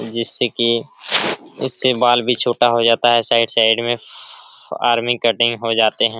जिससे की इससे बाल भी छोटा हो जाता है साइड साइड में आर्मी कटिंग हो जाते हैं।